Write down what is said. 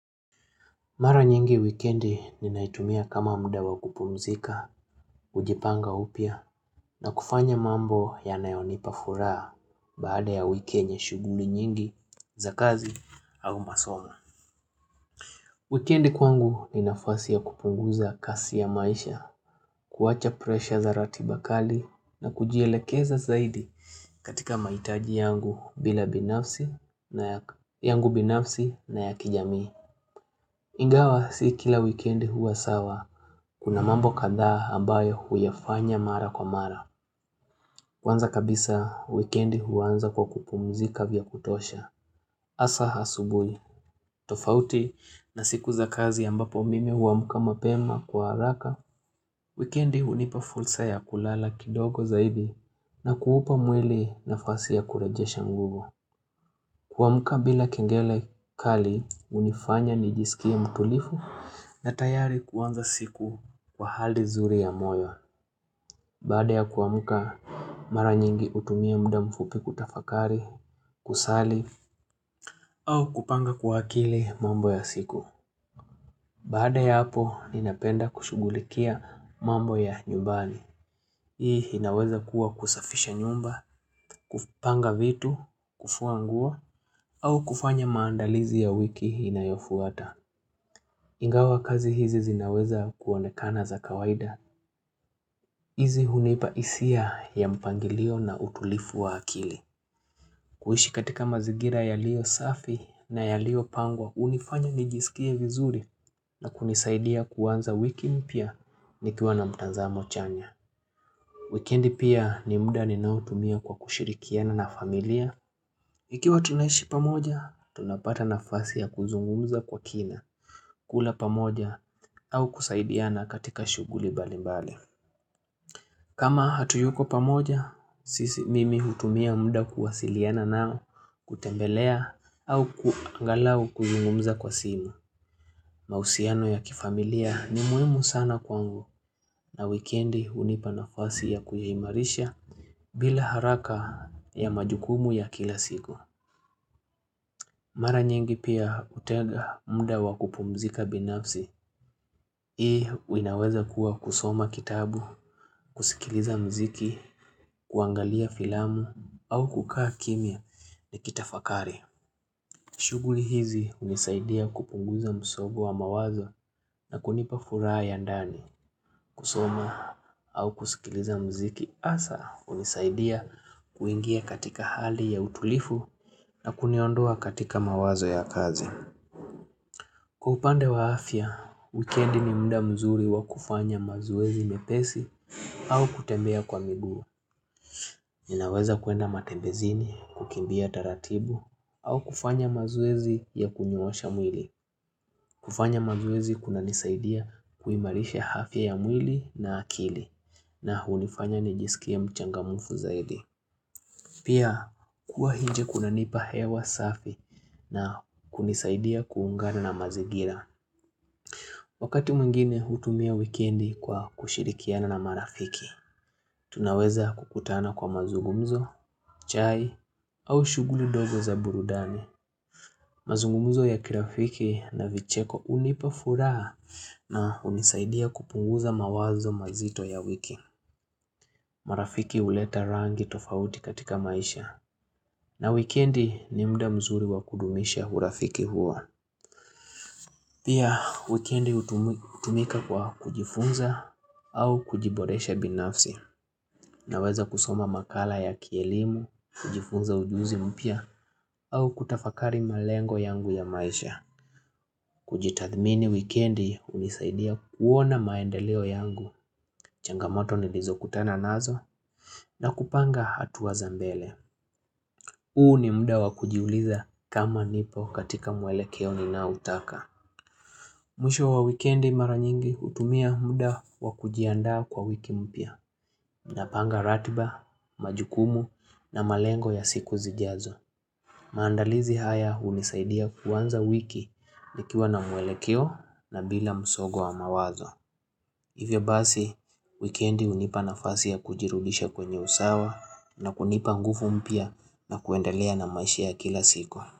Mara nyingi wikendi ninaitumia kama muda wa kupumzika, kujipanga upya, na kufanya mambo yanayonipa furaha baada ya wiki yenye shughuli nyingi za kazi au masomo. Wikendi kwangu ninafasi ya kupunguza kasi ya maisha, kuacha presha za ratiba kali na kujielekeza zaidi katika mahitaji yangu bila binafsi na yangu binafsi na ya kijamii. Ingawa si kila wikendi huwa sawa, kuna mambo kadhaa ambayo huyafanya mara kwa mara. Kwanza kabisa, wikendi huanza kwa kupumzika vya kutosha. Hasa asubuhi, tofauti na siku za kazi ambapo mimi huamka mapema kwa haraka. Wikendi hunipa fursa ya kulala kidogo zaidi na kuupa mwili na fasi ya kurajesha nguvu. Kuamuka bila kengele kali hunifanya nijisikia mtulifu na tayari kuanza siku kwa hali nzuri ya moyo. Baada ya kuamuka mara nyingi hutumia mda mfupi kutafakari, kusali, au kupanga kwa akili mambo ya siku. Baada ya hapo, ninapenda kushughulikia mambo ya nyumbani. Hii inaweza kuwa kusafisha nyumba, kupanga vitu, kufua nguo, au kufanya maandalizi ya wiki inayofuata. Ingawa kazi hizi zinaweza kuonekana za kawaida. Hizi hunipahisia ya mpangilio na utulifu wa akili. Kuiishi katika mazigira yaliyo safi na yaliyo pangwa, hunifanya nijisikie vizuri na kunisaidia kuanza wiki mpya nikiwa na mtanzamo chanya. Wikendi pia ni muda ninao tumia kwa kushirikiana na familia. Ikiwa tunaishi pamoja, tunapata na fasi ya kuzungumza kwa kina, kula pamoja, au kusaidiana katika shughuli mbali mbali. Kama hatuyuko pamoja, sisi mimi hutumia muda kuwasiliana nao, kutembelea, au angalau kuzungumza kwa simu. Mahusiano ya kifamilia ni muhimu sana kwangu na wikendi hunipa nafasi ya kuimarisha bila haraka ya majukumu ya kila siku. Mara nyingi pia hutega muda wakupumzika binafsi. Hii inaweza kuwa kusoma kitabu, kusikiliza mziki, kuangalia filamu au kukaa kimia ni kitafakari. Shughuli hizi hunisaidia kupunguza msongo wa mawazo na kunipa furaha ya ndani. Kusoma au kusikiliza mziki hasa hunisaidia kuingia katika hali ya utulifu na kuniondoa katika mawazo ya kazi. Kwa upande wa afya, wikendi ni muda mzuri wa kufanya mazoezi mepesi au kutembea kwa miguu. Ninaweza kuenda matembezini, kukimbia taratibu au kufanya mazoezi ya kunyoosha mwili. Kufanya mazoezi kuna nisaidia kuimarisha afya ya mwili na akili. Na hunifanya nijisikie mchangamufu zaidi. Pia kuwa nje kuna nipa hewa safi na kunisaidia kuungana na mazigira. Wakati mwingine hutumia wikendi kwa kushirikiana na marafiki, tunaweza kukutana kwa mazungumzo, chai au shughuli ndogo za burudani. Mazungumzo ya kirafiki na vicheko hunipa furaha na hunisaidia kupunguza mawazo mazito ya wiki. Marafiki huleta rangi tofauti katika maisha. Na wikendi ni mda mzuri wakudumisha urafiki huo. Pia wikendi hutumika kwa kujifunza au kujiboresha binafsi. Na weza kusoma makala ya kielimu, kujifunza ujuzi mpya au kutafakari malengo yangu ya maisha. Kujitathmini wikendi hunisaidia kuona maendeleo yangu. Changamoto nilizo kutana nazo na kupanga hatu wazambele. Huu ni muda wakujiuliza kama nipo katika mwelekeo ninao utaka. Mwisho wa wikendi mara nyingi hutumia muda wakujiandaa kwa wiki mpya. Napanga ratiba, majukumu na malengo ya siku zijazo. Maandalizi haya hunisaidia kuanza wiki nikiwa na mwelekeo na bila msongo wa mawazo. Hivyo basi, wikendi hunipa na fasi ya kujirudisha kwenye usawa na kunipa nguvu mpya na kuendelea na maisha ya kila siku.